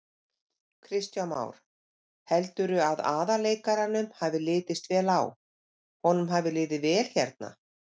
Kristján Már: Heldurðu að aðalleikaranum hafi litist vel á, honum hafi liðið vel hérna?